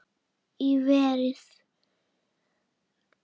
Í verið